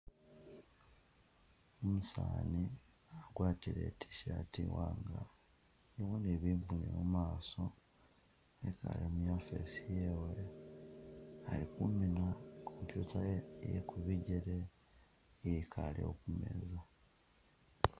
Umusaani agwatile i’tshirt imwanga ilimo ne bibuyo mumaaso ekhaale mu office yewe, ali khumiina computer yewe iye kubigele iyikaale kumeeza.